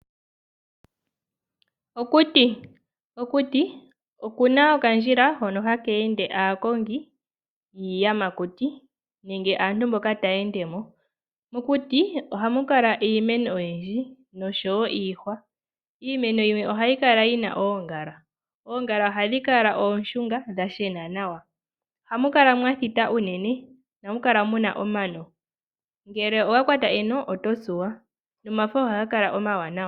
Okuti. Okuti oku na okandjila hono haka ende aakongi yiiyamakuti nenge aantu mboka taya ende mo. Mokuti ohamu kala iimeno oyindji nosho wo iihwa. Iimeno yimwe ohayi kala yi na oongala. Oongala ohadhi kala oonshunga dha shena nawa. Ohamu kala mwa thita unene. Ohamu kala mu udha omano. Ngele owa kwata eno oto tsuwa, nomafo ohaga kala omawanawa.